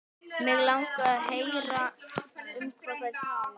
Mig langar að heyra um hvað þær tala.